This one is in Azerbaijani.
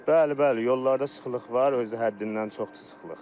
Bəli, bəli, yollarda sıxlıq var, özü də həddindən çoxdur sıxlıq.